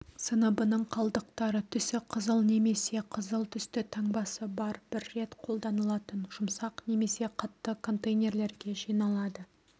сыныбының қалдықтары түсі қызыл немесе қызыл түсті таңбасы бар бір рет қолданылатын жұмсақ немесе қатты контейнерлерге жиналады